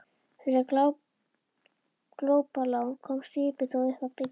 Fyrir glópalán komst skipið þó upp að bryggju.